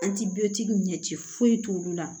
An ti bɛɛ ɲɛ ci foyi t'olu la